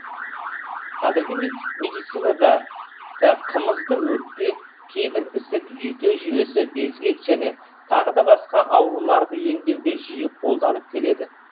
қазіргі медицинада да қымызды өкпе кейбір ісік жүйке жүйесі безгек және тағы басқа ауруларды емдеуге жиі қолданып келеді